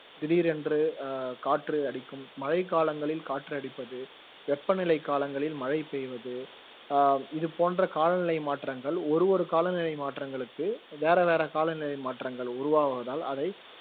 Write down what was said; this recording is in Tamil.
திடீரென்று அஹ் காற்று அடிக்கும் மழைக்காலங்களில் காற்று அடிப்பது வெப்பநிலைக் காலங்களில் மழை பெய்வது அஹ் இது போன்ற காலநிலை மாற்றங்கள் ஒரு ஒரு காலநிலை மாற்றங்களுக்கு வேற வேற காலநிலை மாற்றங்கள் உருவாவதால் அதை